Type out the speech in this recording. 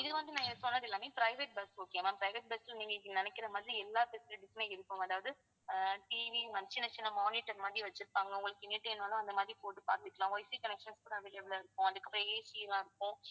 இது வந்து நான் சொன்னது எல்லாமே private busokay யா ma'am private bus ல நீங்க நினைக்கிற மாதிரி எல்லா facilities மே இருக்கும் அதாவது ஆஹ் TV சின்னச் சின்ன monitor மாதிரி வச்சிருப்பாங்க உங்களுக்கு அந்த மாதிரி போட்டு பார்த்துக்கலாம் wifi connection கூட available ஆ இருக்கும் அதுக்கு அப்புறம் AC எல்லாம் இருக்கும்